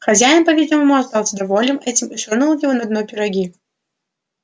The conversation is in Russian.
хозяин по видимому остался доволен этим и швырнул его на дно пироги